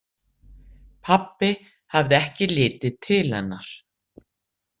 Pabbi hafði ekki litið til hennar.